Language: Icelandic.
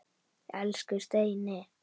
Elsku Steini.